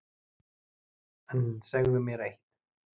En segðu mér eitt: